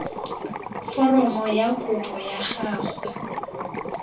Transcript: foromo ya kopo ya gago